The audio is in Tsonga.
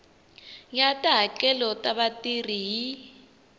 ya tihakelo ta vatirhi hi